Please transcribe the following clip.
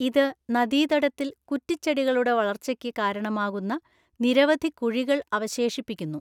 ഇത് നദീതടത്തിൽ കുറ്റിച്ചെടികളുടെ വളർച്ചയ്ക്ക് കാരണമാകുന്ന നിരവധി കുഴികൾ അവശേഷിപ്പിക്കുന്നു.